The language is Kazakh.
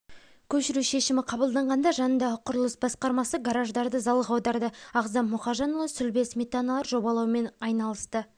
көшіру шешімі қабылданғанда жанындағы құрылыс басқармасы гараждарды залға аударды ағзам мұхажанұлы сүлбе сметалар жобалаумен айналысты